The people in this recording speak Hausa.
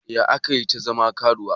Yaya aka yi ta zama karuwa?